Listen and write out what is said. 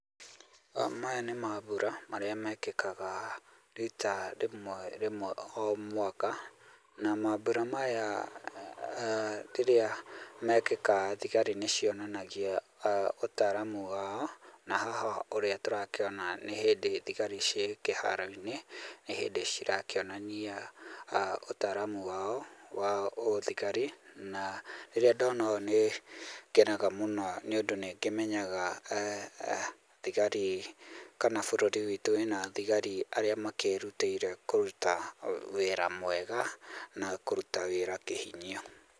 Maya nĩ mambura marĩa mekĩkaga rita, rĩmwe rĩmwe o mwaka na mambura maya rĩrĩa mekĩka thigari nĩ cionanagia ũtaaramu wao. Na haha ũrĩa tũrakĩona nĩ hĩndĩ thigari ciĩ kĩharo-inĩ, nĩ hĩndĩ cirakĩonania ũtaaramu wao wa ũthigari na rĩrĩa ndona ũũ nĩ ngenaga mũno nĩ ũndũ nĩ ngĩmenyaga thigari kana bũrũri witũ wĩna thigari aria makĩrutĩire kũruta wĩra mwega na kũruta wĩra kĩhinyio.